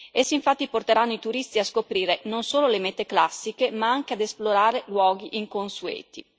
Essi, infatti, porteranno i turisti a scoprire non sono le mete classiche ma anche ad esplorare luoghi inconsueti.